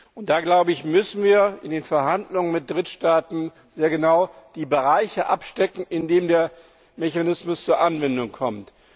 Und da müssen wir in den Verhandlungen mit Drittstaaten sehr genau die Bereiche abstecken, in denen der Mechanismus zur Anwendung kommt.